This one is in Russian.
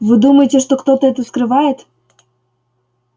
вы думаете что кто-то это скрывает